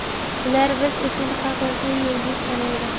Ular biz uchun haqiqiy yulduz sanalgan.